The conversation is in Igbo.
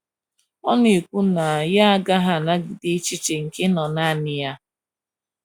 Ọ na - ekwu na ya agaghị anagide echiche nke ịnọ nanị ya.